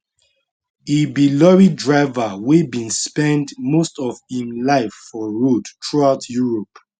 e be lorry driver wey bin spend most of im life for road throughout europe